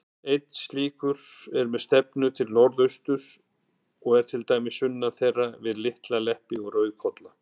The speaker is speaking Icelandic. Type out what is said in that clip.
Einn slíkur, með stefnu til norðausturs, er til dæmis sunnan þeirra, við Litla-Leppi og Rauðkolla.